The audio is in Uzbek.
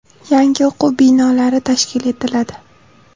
Yangi o‘quv binolari tashkil etiladi.